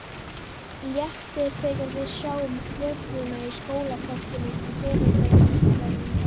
Léttir þegar við sjáum þvöguna í skólaportinu, foreldrar með nýgræðinga.